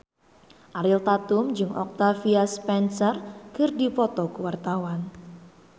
Ariel Tatum jeung Octavia Spencer keur dipoto ku wartawan